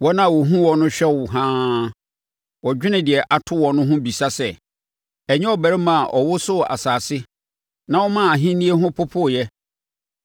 Wɔn a wɔhunu wo no hwɛ wo haa, wɔdwene deɛ ato woɔ no ho bisa sɛ, “Ɛnyɛ ɔbarima a ɔwosoo asase na ɔmaa ahennie ho popooeɛ,